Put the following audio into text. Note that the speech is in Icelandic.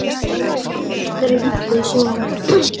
Ég er lík þeirri illu í sögunum.